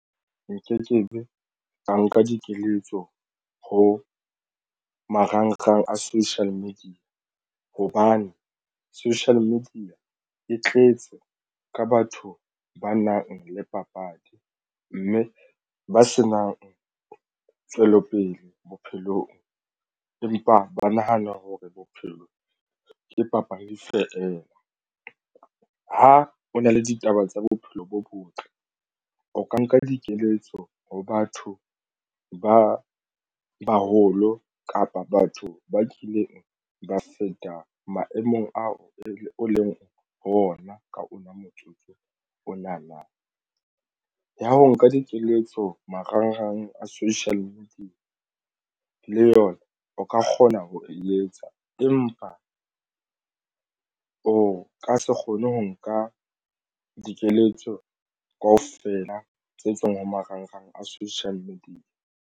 Nkekebe ka nka dikeletso ho marangrang a social media hobane social media e tletse ka batho ba nang le papadi mme ba senang tswelopele bophelong, empa ba nahana hore bophelo ke papadi fela. Ha o na le ditaba tsa bophelo bo botle o ka nka dikeletso ho batho ba baholo kapa batho ba kileng ba feta maemong ao e leng ho ona ka ona motsotso ona na ya ho nka dikeletso marangrang a social media le yona o ka kgona ho e etsa, empa o ka se kgone ho nka dikeletso kaofela tse tswang ho marangrang a social media.